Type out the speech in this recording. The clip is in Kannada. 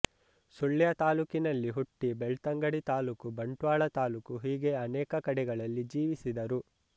ಸುಳ್ಯ ತಾಲೂಕಿನಲ್ಲಿ ಹುಟ್ಟಿ ಬೆಳ್ತಂಗಡಿ ತಾಲೂಕು ಬಂಟ್ವಾಳ ತಾಲೂಕು ಹೀಗೆ ಅನೇಕ ಕಡೆಗಳಲ್ಲಿ ಜೀವಿಸಿದರು